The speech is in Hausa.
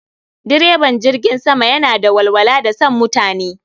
Direban jirgin sama yana da walwala da san mutani